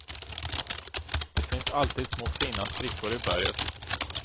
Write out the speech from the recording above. Det finns alltid små fina sprickor i berget.